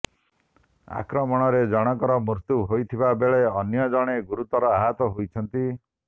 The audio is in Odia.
ଆକ୍ରମଣରେ ଜଣଙ୍କର ମୃତ୍ୟୁ ହୋଇଥିବା ବେଳେ ଅନ୍ୟ ଜଣେ ଗୁରୁତର ଆହତ ହୋଇଛନ୍ତି